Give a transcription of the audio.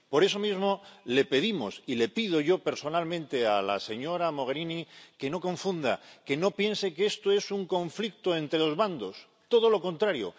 Por eso mismo le pedimos, y le pido yo personalmente a la señora Mogherini, que no confunda, que no piense que esto es un conflicto entre dos bandos, todo lo contrario.